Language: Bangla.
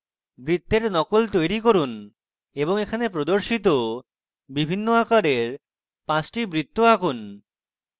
বৃত্তের নকল তৈরী করুন এবং এখানে প্রদর্শিত বিভিন্ন আকারের 5 the বৃত্ত আঁকুন